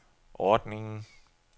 ordningen